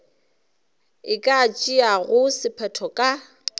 e ka tšeago sephetho ka